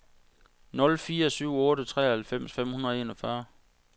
nul fire syv otte treoghalvfems fem hundrede og enogfyrre